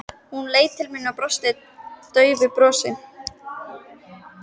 Hún leit til mín og brosti daufu brosi.